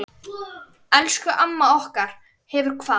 Elsku amma okkar hefur kvatt.